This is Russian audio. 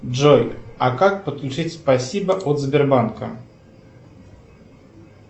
джой а как подключить спасибо от сбербанка